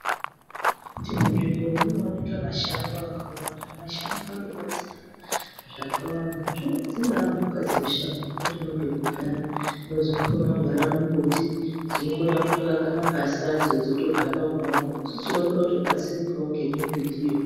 Munzvimbo munooneka mashango akawanda. Mashango anobatsira zvakawanda dzingaa mhuka dzemushango dzinotodawo pekugara, dzimwe dzinokona kugara mumbuti dzinokona kutoaka magasi adzo dzotogara umwomwo, isusu tinokona kutobatsirikawo ngemimbitiyo.